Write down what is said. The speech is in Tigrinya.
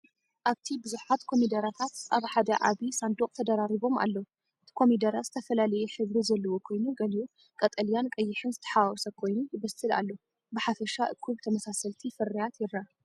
ኣብቲ ብዙሓት ኮሚደረታት ኣብ ሓደ ዓቢ ሳንዱቕ ተደራሪቦም ኣለዉ። እቲ ኮሚደረ ዝተፈላለየ ሕብሪ ዘለዎ ኮይኑ፡ ገሊኡ ቀጠልያን ቀይሕን ዝተሓዋወሰ ኮይኑ፡ ይበስል ኣሎ። ብሓፈሻ እኩብ ተመሳሰልቲ ፍርያት ይርአ።